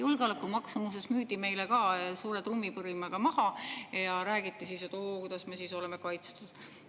Julgeolekumaks müüdi meile ka suure trummipõrinaga maha ja räägiti, et oo, kuidas me siis oleme kaitstud.